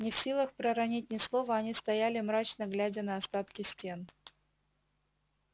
не в силах проронить ни слова они стояли мрачно глядя на остатки стен